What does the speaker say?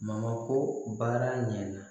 Mamako baara ɲɛna